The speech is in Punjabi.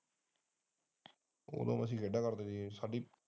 ਉਹ ਦੋ ਅਸੀਂ ਖੇਡਾਂ ਕਰਦੇ ਸੀ ਸਾਡੀ।